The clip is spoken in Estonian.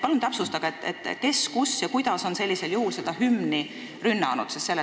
Palun täpsustage, kes, kus ja kuidas on hümni rünnanud!